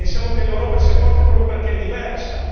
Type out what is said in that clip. pensiamo che l'Europa sia forte proprio perché è diversa.